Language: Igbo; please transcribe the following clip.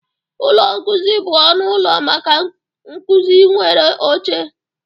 Ụlọ nkuzi bụ ọnụ ụlọ maka nkuzi nwere oche